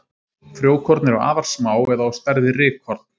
Frjókorn eru afar smá eða á stærð við rykkorn.